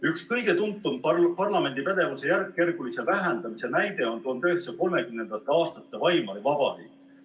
Üks kõige tuntum parlamendi pädevuse järkjärgulise vähendamise näide on konkreetselt 1930. aastate Weimari Vabariik.